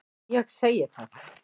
Ég segi það.